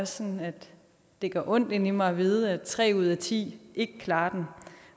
sådan at det gør ondt inde i mig at vide at tre ud af ti ikke klarer